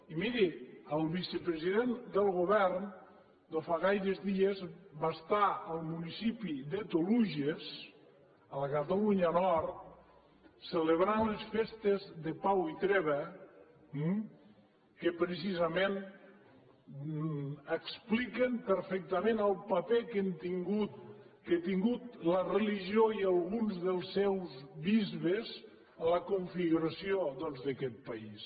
i miri el vicepresident del govern no fa gaires dies va estar al municipi de toluges a la catalunya del nord celebrant les festes de pau i treva eh que precisament expliquen perfectament el paper que han tingut la religió i alguns dels seus bisbes en la configuració doncs d’aquest país